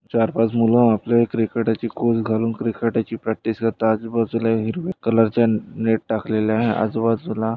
चार-पाच मुलं आपले क्रिकेटाची कोच घालून क्रिकेटाची प्रॅक्टिस करताय आजूबाजूला हिरव्या कलरचा नेट टाकलेले आहे आजूबाजूला--